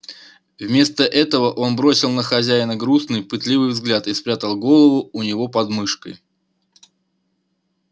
вместо этого он бросил на хозяина грустный пытливый взгляд и спрягал голову у него под мышкой